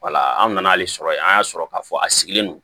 Wala an nana hali sɔrɔ yen an y'a sɔrɔ k'a fɔ a sigilen don